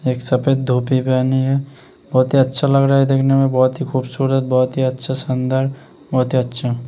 एक सफ़ेद धोती पहने हैं बोहोत ही अच्छा लग रहा हैं दिखने में बोहोत ही खूबसूरत बोहोत ही अच्छा सुन्दर बोहोत ही अच्छा।